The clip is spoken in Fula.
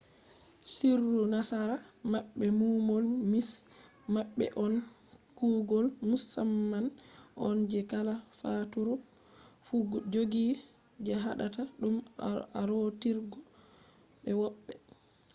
sirru nasara maɓɓe numol nish maɓɓe on kuugol musamman on je kala faaturu fu jogi je haɗata ɗum arootirgo be woɓɓe